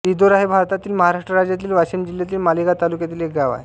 रिधोरा हे भारतातील महाराष्ट्र राज्यातील वाशिम जिल्ह्यातील मालेगाव तालुक्यातील एक गाव आहे